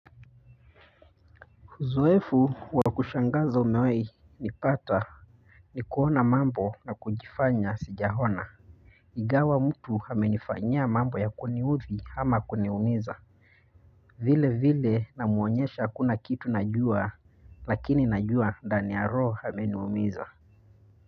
Uzoefu wa kushangaza umewahi nipata ni kuona mambo na kujifanya sijaona ingawa mtu amenifanya mambo ya kuniudhi ama kuniumiza vile vile namuonyesha hakuna kitu najua lakini najua ndani ya roho ameniumiza.